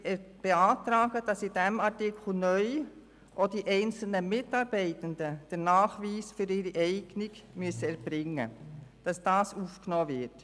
Wir beantragen, dass in diesem Artikel neu auch die Aufnahme des Nachweises der Eignung für die einzelnen Mitarbeitenden aufgenommen wird.